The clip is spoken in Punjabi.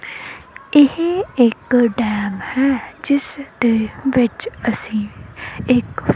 ਇਹ ਇੱਕ ਡੈਮ ਹੈ ਜਿੱਸ ਦੇ ਵਿੱਚ ਅਸੀ ਇੱਕ --